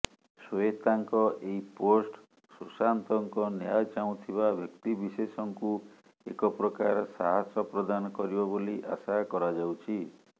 ଶ୍ୱେତାଙ୍କ ଏହି ପୋଷ୍ଟ ସୁଶାନ୍ତଙ୍କ ନ୍ୟାୟ ଚାହୁଁଥିବା ବ୍ୟକ୍ତିବିଶେଷଙ୍କୁ ଏକପ୍ରକାର ସାହାସ ପ୍ରଦାନ କରିବ ବୋଲି ଆଶା କରାଯାଉଛି